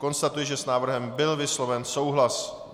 Konstatuji, že s návrhem byl vysloven souhlas.